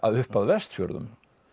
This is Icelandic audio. upp að Vestfjörðum